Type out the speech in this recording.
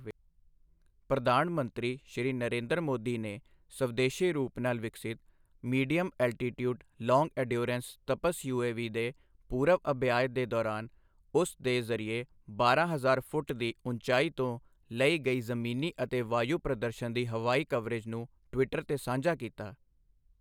ਪ੍ਰਧਾਨ ਮੰਤਰੀ, ਸ਼੍ਰੀ ਨਰੇਂਦਰ ਮੋਦੀ ਨੇ ਸਵਦੇਸ਼ੀ ਰੂਪ ਨਾਲ ਵਿਕਸਿਤ medium altitude long endurance Tapas UAV ਦੇ ਪੂਰਵ ਅਭਿਆਯ ਦੇ ਦੌਰਾਨ ਉਸ ਦੇ ਜ਼ਰੀਏ ਬਾਰਾਂ ਹਜ਼ਾਰ ਫੁੱਟ ਦੀ ਉੱਚਾਈ ਤੋਂ ਲਈ ਗਈ ਜ਼ਮੀਨੀ ਅਤੇ ਵਾਯੂ ਪ੍ਰਦਰਸ਼ਨ ਦੀ ਹਵਾਈ ਕਵਰੇਜ ਨੂੰ ਟਵੀਟਰ ਤੇ ਸਾਂਝਾ ਕੀਤਾ ਹੈ।